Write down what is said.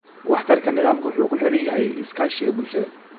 Waxtarka nidaamka wuxuu ku xiran yahay iskaashiga bulshada.